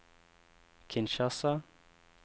Kinshasa